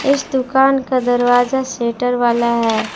इस दुकान का दरवाजा शेटर वाला है।